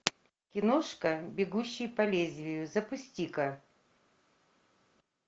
киношка бегущий по лезвию запусти ка